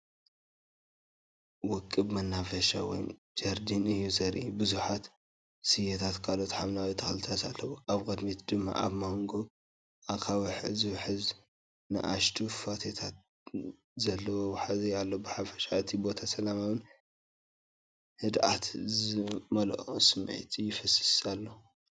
ውቁብ መናፈሻ ወይ ጀርዲን እዩ ዘርኢ። ብዙሓት ስየታትን ካልኦት ሓምለዋይ ተኽልታትን ኣለዉ። ኣብ ቅድሚት ድማ ኣብ መንጎ ኣኻውሕ ዝውሕዝ ንኣሽቱ ፏፏቴታት ዘለዎ ወሓዚ ኣሎ። ብሓፈሻ እቲ ቦታ ሰላማውን ህድኣትን ዝመልኦ ስምዒት ይፈስስ ኣሎ።